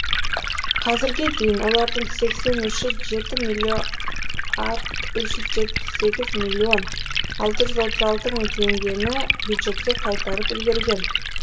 қазірге дейін олардың сексен үші жеті үш жүз сексен жеті миллион алты жүз отыз алты мың теңгені бюджетке қайтарып үлгерген